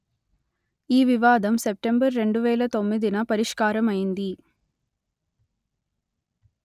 ఈ వివాదం సెప్టెంబర్ రెండు వేల తొమ్మిదిన పరిష్కారమైంది